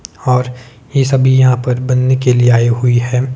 और ये सभी यहां पर बनने के लिए आए हुई है।